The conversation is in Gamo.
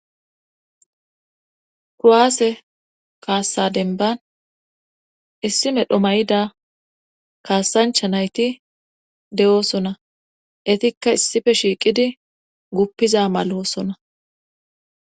kuruaase kaassa denban issi medho mayida kaasancha nayti de7oosona etikka issife shiiqidi guppiza maloosona